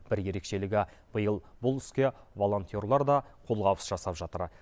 бір ерекшелігі биыл бұл іске волонтерлар да қолғабыс жасап жатыр